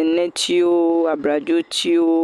enetiwo, abladzotiwo.